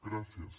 gràcies